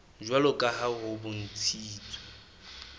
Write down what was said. jwalo ka ha ho bontshitswe